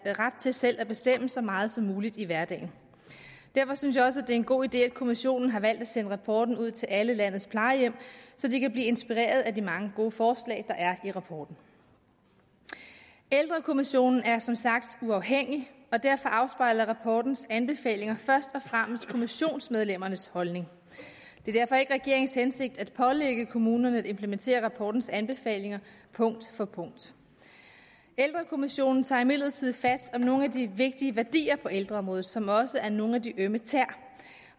ret til selv at bestemme så meget som muligt i hverdagen derfor synes jeg også det er en god idé at kommissionen har valgt at sende rapporten ud til alle landets plejehjem så de kan blive inspireret af de mange gode forslag der er i rapporten ældrekommissionen er som sagt uafhængig og derfor afspejler rapportens anbefalinger først og fremmest kommissionsmedlemmernes holdning det er derfor ikke regeringens hensigt at pålægge kommunerne at implementere rapportens anbefalinger punkt for punkt ældrekommissionen tager imidlertid fat om nogle af de vigtige værdier på ældreområdet som også er nogle af de ømme tæer